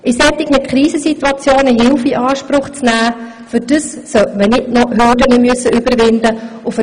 In solchen Krisensituationen sollte man nicht noch Hürden überwinden müssen, um Hilfe in Anspruch nehmen zu können.